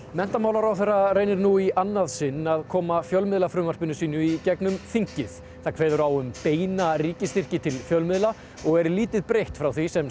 menntamálaráðherra reynir nú í annað sinn að koma fjölmiðlafrumvarpinu sínu í gegnum þingið það kveður á um beina ríkisstyrki til fjölmiðla og er lítið breytt frá því sem